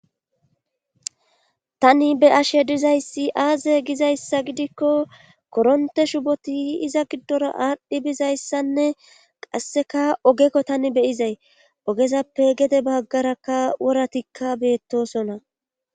tani be'ashe dizayssi aaze gizayssa gidikko koronte shuboti iza giddora aadhdhi bizayssanne qasseka ogekko tani beyizay ogezappe gede baggarakka woratikka beettosona